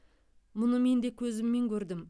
мұны мен де көзіммен көрдім